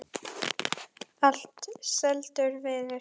Allt seldur viður.